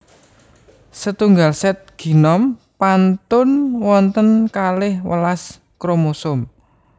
Setunggal sét génom pantun wonten kalih welas kromosom